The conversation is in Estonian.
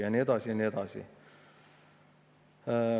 " Ja nii edasi ja nii edasi.